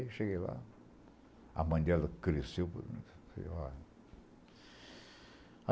Aí, cheguei lá, a mãe dela cresceu. Falei falei olha